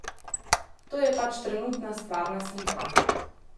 To je pač trenutna stvarna slika.